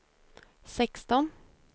sexton